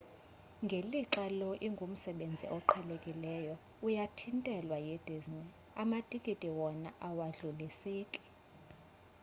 ngelixa lo ingumsebenzi oqhelekileyo uyathintelwa yidisney amatikiti wona awadluliseki